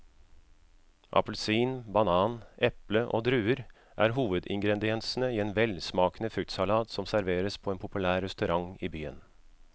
Appelsin, banan, eple og druer er hovedingredienser i en velsmakende fruktsalat som serveres på en populær restaurant i byen.